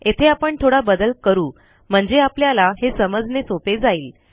येथे आपण थोडा बदल करू म्हणजे आपल्याला हे समजणे सोपे जाईल